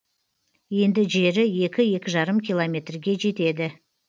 енді жері екі екі жарым километрге жетеді